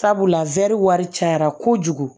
Sabula wari cayara kojugu